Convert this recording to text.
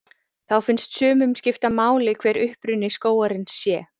Þá finnst sumum skipta máli hver uppruni skógarins sé.